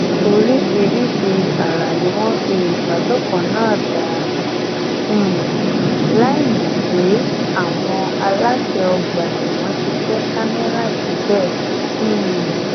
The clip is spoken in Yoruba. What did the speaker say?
oríṣiríṣi ì ara ni wọn fi ìbálòpọ náà dá um láìmọ pé àwọn aláṣẹ ọgbà ẹwọn ti kẹ kámẹrà síbẹ um